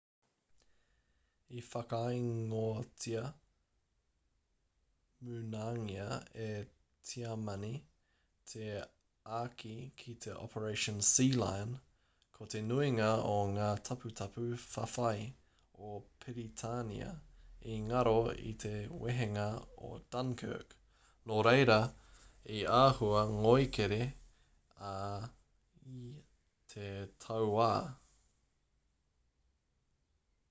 i whakaingoatia munangia e tiamani te āki ki te operation sealion ko te nuinga o ngā taputapu whawhai o piritania i ngaro i te wehenga o dunkirk nō reira i āhua ngoikera ai te tauā